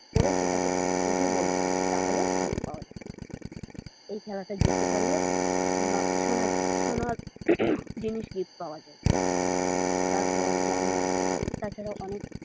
করে সেটাকে বুঝে বলতে হবে তাহলেই lead পাওয়া যাবে এই খেলাটায় জিততে পারলে সোনার জিনিস gift পাওয়া যায় তারপর যেমন আছে তাছারাও অনেক।